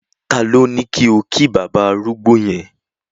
Tálọ̀ní kí o kí baba arúgbó̀ yẹn?